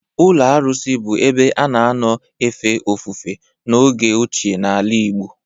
Ụlọ arụsị bụ ebe a na-anọ efe ofufe n'oge ochie n'ala Igbo.